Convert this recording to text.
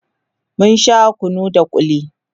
mun Sha kunu da kulli